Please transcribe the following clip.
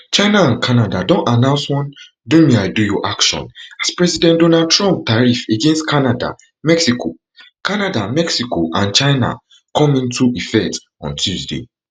china and canada don announce one domeidoyou action as president donald trump tariff against canada mexico canada mexico and china come into effect on tuesday